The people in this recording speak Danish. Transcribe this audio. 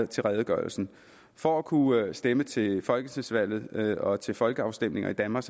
til redegørelsen for at kunne stemme til folketingsvalg og til folkeafstemninger i danmark